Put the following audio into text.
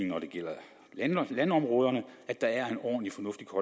når det gælder landområderne at der er en ordentlig